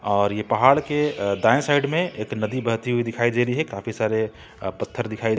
और ये पहाड़ के दाएं साइड में एक नदी बहती हुई दिखाई दे रही है काफी सारे पत्थर दिखा--